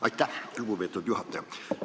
Aitäh, lugupeetud juhataja!